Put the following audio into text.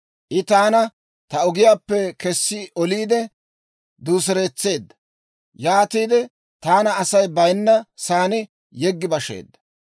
I taana ta ogiyaappe kessi oliide, duuseretseedda. Yaatiide taana Asay bayinna saan yeggi basheedda.